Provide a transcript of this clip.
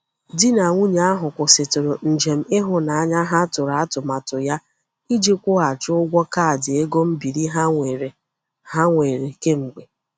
Di na nwunye ahụ kwụsịtụrụ njem ịhụnanya ha tụrụ atụmatụ ya iji kwụghachi ụgwọ kaadị ego mbiri ha nwere ha nwere kemgbe.